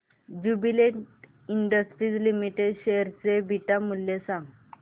Jubilant Industries Limited share चे beta मूल्य